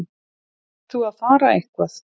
Ert þú að fara eitthvað?